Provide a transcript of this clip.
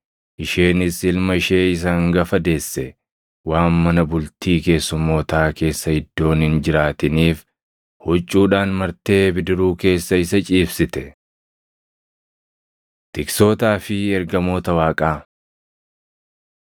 Isheenis ilma ishee isa hangafa deesse. Waan mana bultii keessummootaa keessa iddoon hin jiraatiniif huccuudhaan martee bidiruu keessa isa ciibsite. Tiksootaa fi Ergamoota Waaqaa